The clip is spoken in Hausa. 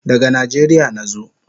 Daga Nijeria nazo